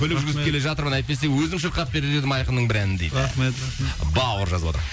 көлік жүргізіп келе жатырмын әйтпесе өзім шырқап берер едім айқынның бір әнін дейді рахмет бауыр жазып отыр